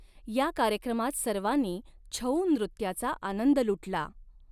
या कार्यक्रमात सर्वांनी छऊ नृत्याचा आनंद लुटला.